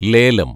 ലേലം